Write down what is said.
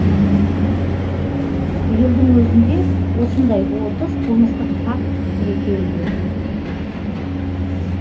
биылдың өзінде осындай отыз қылмыстық факт тіркелген